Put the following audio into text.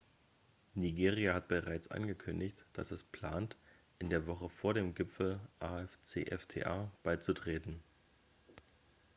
nigeria hat bereits angekündigt dass es plant in der woche vor dem gipfel afcfta beizutreten